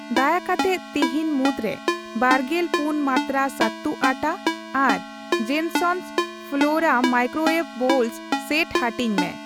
ᱫᱟᱭᱟ ᱠᱟᱛᱮᱫ ᱛᱤᱦᱤᱧ ᱢᱩᱫᱽᱨᱮ ᱵᱟᱨᱜᱮᱞ ᱯᱩᱱ ᱢᱟᱱᱛᱨᱟ ᱥᱟᱹᱛᱩ ᱟᱴᱟ ᱟᱨ Jensons Flora microwave bowl set ᱦᱟᱹᱴᱤᱧ ᱢᱮ ᱾